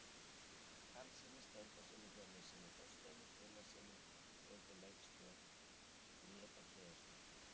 Karlssyni, Steindóri Hjörleifssyni og Þorsteini Gunnarssyni undir leikstjórn Bríetar Héðinsdóttur.